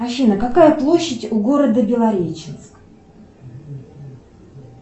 афина какая площадь у города белореченск